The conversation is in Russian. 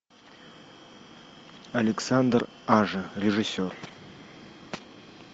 александр ажа режиссер